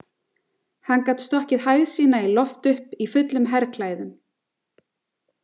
Hann gat stokkið hæð sína í loft upp í fullum herklæðum.